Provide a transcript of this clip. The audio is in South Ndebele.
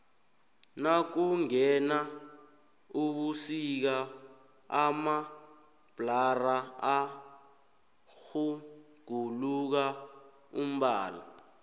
nakungena ubusika amabhlara atjhuguluka umbala